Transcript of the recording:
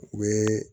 U ye